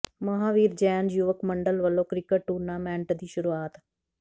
ਮਹਾਂਵੀਰ ਜੈਨ ਯੁਵਕ ਮੰਡਲ ਵਲੋਂ ਕਿ੍ਕਟ ਟੂਰਨਾਮੈਂਟ ਦੀ ਸ਼ੁਰੂਆਤ